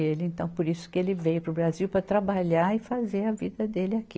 E ele, então, por isso que ele veio para o Brasil, para trabalhar e fazer a vida dele aqui.